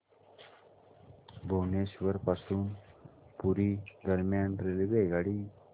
भुवनेश्वर पासून पुरी दरम्यान रेल्वेगाडी